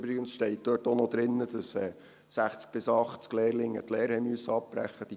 Übrigens steht dort auch noch drin, dass 60 bis 80 Lehrlinge die Lehre abbrechen mussten.